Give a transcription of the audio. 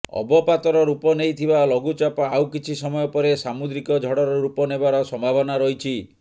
ଅବପାତର ରୂପ ନେଇଥିବା ଲଘୁଚାପ ଆଉ କିଛି ସମୟ ପରେ ସାମୁଦ୍ରିକ ଝଡ଼ର ରୂପ ନେବାର ସମ୍ଭାବନା ରହିଛି